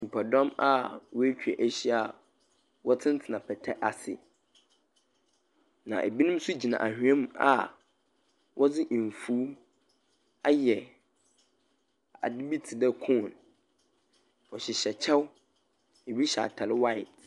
Nyimpadɔm a woetwa ahyia wɔtsentsena pata bi ase, na binom so gyina anhwea mu a wɔdze efuw ayɛ adze bi tse dɛ cone, wɔhyehyɛ kyɛw, binom hyɛ atar white.